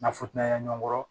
Nafutanya ɲɔgɔn kɔrɔ